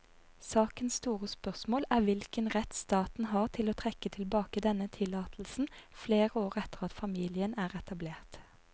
Sakens store spørsmål er hvilken rett staten har til å trekke tilbake denne tillatelsen flere år etter at familien er etablert.